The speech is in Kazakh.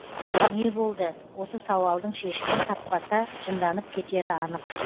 не болды осы сауалдың шешімін таппаса жынданып кетері анық